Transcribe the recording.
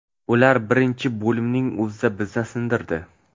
Ular birinchi bo‘limning o‘zida bizni sindirdi.